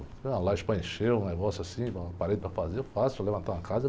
Se tiver uma laje para encher, um negócio assim, uma parede para fazer, eu faço, levantar uma casa.